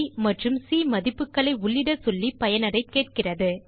aப் மற்றும் சி மதிப்புகளை உள்ளிட சொல்லி பயனரைக் கேட்கிறது